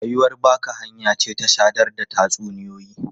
Ruwayar baka hanya ce ta sadar da tatsuniyoyi.